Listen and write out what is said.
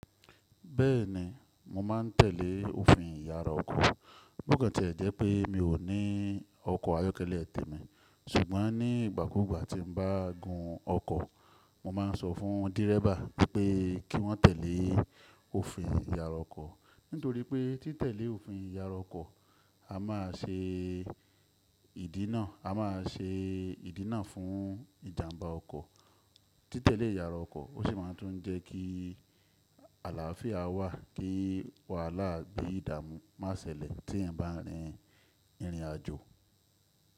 Bẹ́ẹ̀ni, mo máa ń tẹ̀lé òfin ìyara ọkọ̀. Bokan tiẹ̀ jẹ́ pé mi ò ní ọkọ̀ ayọ́kẹ́lẹ́ tèmi, ṣùgbọ́n nígbà kúgbà tí n bá gun ọkọ̀, mo máa ń sọ fún dírẹ́bà pé kí wọ́n tẹ̀lé òfin ìyara ọkọ̀. Nítorí pé tí tẹ̀lé òfin ìyara ọkọ̀ ama ṣe, a máa ṣe ìdínà fún ìjàmbá ọkọ̀. Tí tẹ̀lé ìyara ọkọ̀, o sì máa tún jẹ́ kí àlàáfíà wà kí wàhálà bí i ìdààmú má ṣẹlẹ̀ tí èèyàn bá rin ìrìn àjò.